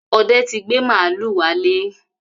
Ọdẹ ti gbé màlúù wálé.